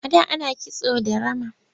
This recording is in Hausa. A da ana kisto da rama.